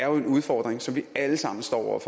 jo er en udfordring som vi alle sammen står over